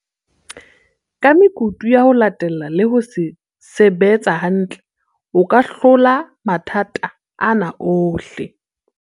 "Ka mekutu ya ho latella le ho se betsa hantle, o ka hlola matha ta ana ohle".